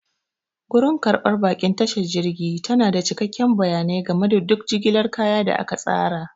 Gurin karɓar baƙin tashar jirgi truwa tana da cikakkun bayanai game da duk jigilar kaya da aka tsara.